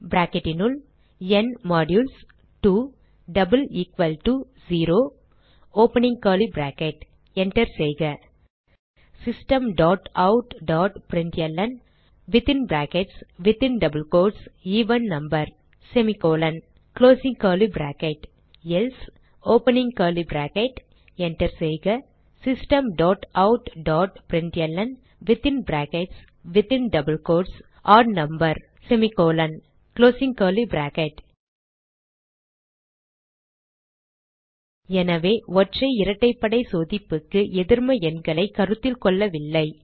if enter செய்க Systemoutprintlnஎவன் number else enter செய்க Systemoutprintlnஒட் நம்பர் எனவே ஒற்றை இரட்டைப்படை சோதிப்புக்கு எதிர்ம எண்களைக் கருத்தில் கொள்ளவில்லை